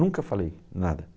Nunca falei nada.